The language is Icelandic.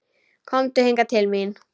Komdu hingað til mín.